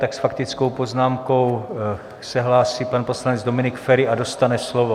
Tak s faktickou poznámkou se hlásí pan poslanec Dominik Feri a dostane slovo.